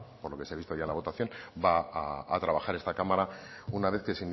por lo que se ha visto en la votación va a trabajar esta cámara una vez que